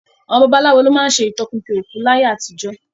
Àwọn babaláwo ló má ń ṣe ìtọpinpin òkú láyé àtijó